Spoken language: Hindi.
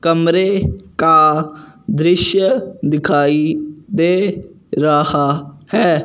कमरे का दृश्य दिखाई दे रहा है।